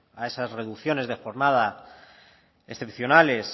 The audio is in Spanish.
a esas reducciones de jornada excepcionales